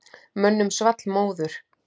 Mönnum svall móður.